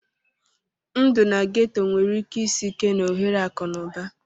Ndụ na ghetto nwere ike isi ike na ohere akụ na ụba